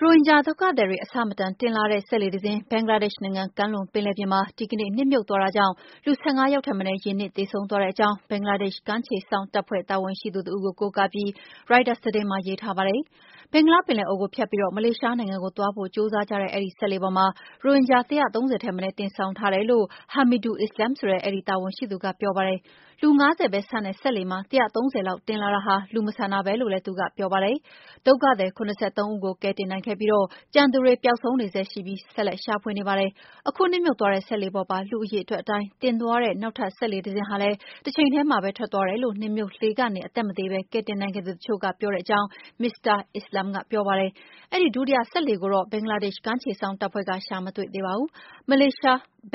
ရိုဟင်ဂျာဒုက္ခသည်တွေ အဆမတန် တင်လာတဲ့ စက်လှေတစင်း ဘင်္ဂလားဒေ့ရှ်နိုင်ငံ ကမ်းလွန်ပင်လယ်ပြင်မှာ ဒီကနေ့ နစ်မြုပ်သွားတာကြောင့် လူ ၁၅ ယောက်ထက်မနည်း ရေနစ်သေဆုံးသွားတဲ့အကြောင်း ဘင်္ဂလားဒေ့ရှ် ကမ်းခြေစောင့်တပ်ဖွဲ့ တာဝန်ရှိသူတဦးကို ကိုးကားပြီး ရိုက်တာသတင်းမှာ ရေးထားပါတယ်။ ဘင်္ဂလားပင်လယ်အော်ကိုဖြတ်ပြီး မလေးရှားနိုင်ငံကိုသွားဖို့ ကြိုးစားတဲ့ အဲဒီစက်လှေပေါ်မှာ ရိုဟင်ဂျာ ၁၃၀ ထက်မနည်း တင်ဆောင်ထားတယ်လို့ Hamidul Islam ဆိုတဲ့ အဲဒီ တာဝန်ရှိ သူက ပြောပါတယ်။ လူ ၅၀ ပဲဆန့်တဲ့ စက်လှေမှာ ၁၃၀ လောက်တင်လာတာဟာ လူမဆန်တာပဲလို့ Hamidul Islam ကပြောပါတယ်။ဒုက္ခသည် ၇၃ ဦးကို ကယ်တင်နိုင်ခဲ့ပြီး ကျန်သူတွေ ပျောက်ဆုံးနေဆဲရှိပြီးတော့ ဆက်ပြီး ရှာနေကြပါတယ်။ အခုနစ်မြုပ်သွားတဲ့ စက်လှေပေါ်ပါ လူအရေအတွက်အတိုင်း တင်သွားတဲ့ နောက်ထပ်စက်လှေ တစင်းဟာလည်း တချိန်ထဲမှာပဲ ထွက်သွားတယ်လို့ နစ်မြုပ်လှေကနေ အသက်မသေဘဲ ကယ်တင်နိုင်ခဲ့သူတချို့ကပြောတဲ့အကြောင်း မစ္စတာ Islam ကပြောပါတယ်။ အဲဒီ ဒုတိယလှေ ကိုတော့ ဘင်္ဂလားဒေ့ရှ် ကမ်းခြေစောင့်တပ်ဖွဲ့က ရှာမတွေ့သေးပါဘူး။